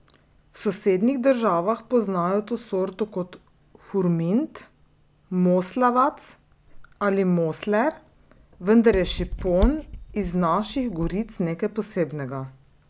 V sosednjih državah poznajo to sorto kot furmint, moslavac ali mosler, vendar je šipon iz naših goric nekaj posebnega.